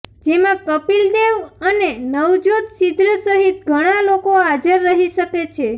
જેમાં કપિલ દેવ અને નવજોત સિદ્ધુ સહિત ઘણાં લોકો હાજર રહી શકે છે